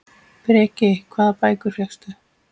Breki: Hvaða bækur fékkstu?